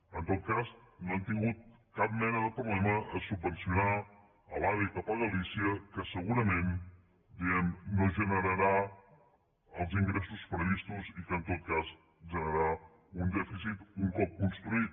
en tot cas no han tingut cap mena de problema a subvencionar l’ave cap a galícia que segurament no generarà els ingressos previstos i que en tot cas generarà un dèficit un cop construït